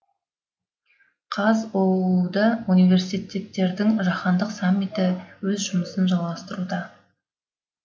қазұу да университеттердің жаһандық саммиті өз жұмысын жалғастыруда